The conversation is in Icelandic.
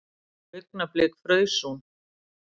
Augnablik fraus hún.